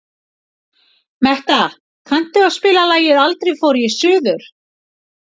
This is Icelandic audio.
Metta, kanntu að spila lagið „Aldrei fór ég suður“?